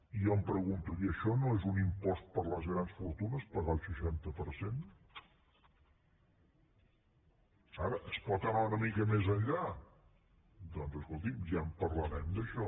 i jo em pregunto i això no és un impost per a les grans fortunes pagar el seixanta per cent ara es pot anar una mica més enllà doncs escolti’m ja en parlarem d’això